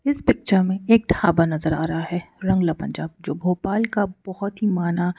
इस पिक्चर में एक ढाबा नजर आ रहा है रंगला पंजाब जो भोपाल का बहुत ही माना--